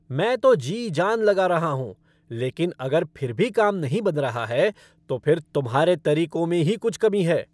मैं तो जी जान लगा रहा हूँ, लेकिन अगर फिर भी काम नहीं बन रहा है, तो फिर तुम्हारे तरीकों में ही कुछ कमी है।